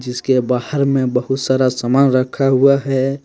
जिसके बाहर में बहुत सारा समान रखा हुआ है।